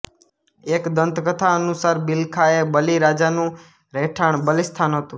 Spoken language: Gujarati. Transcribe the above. એક દંતકથા અનુસાર બિલખા એ બલિ રાજાનું રહેઠાણ બલિસ્થાન હતું